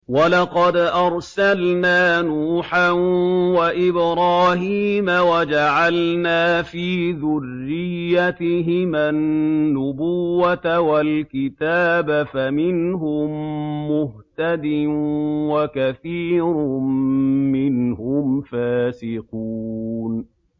وَلَقَدْ أَرْسَلْنَا نُوحًا وَإِبْرَاهِيمَ وَجَعَلْنَا فِي ذُرِّيَّتِهِمَا النُّبُوَّةَ وَالْكِتَابَ ۖ فَمِنْهُم مُّهْتَدٍ ۖ وَكَثِيرٌ مِّنْهُمْ فَاسِقُونَ